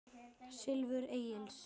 Silfur Egils